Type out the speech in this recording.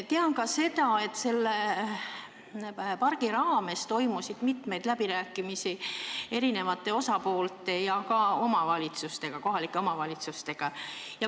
Tean ka seda, et selle pargi loomise arutelu ajal toimus mitmeid läbirääkimisi erinevate osapoolte ja ka kohalike omavalitsustega.